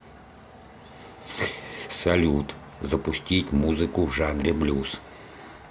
салют запустить музыку в жанре блюз